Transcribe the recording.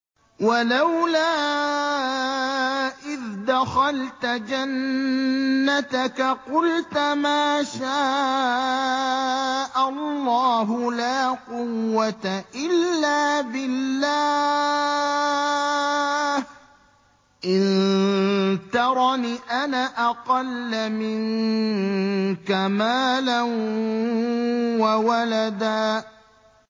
وَلَوْلَا إِذْ دَخَلْتَ جَنَّتَكَ قُلْتَ مَا شَاءَ اللَّهُ لَا قُوَّةَ إِلَّا بِاللَّهِ ۚ إِن تَرَنِ أَنَا أَقَلَّ مِنكَ مَالًا وَوَلَدًا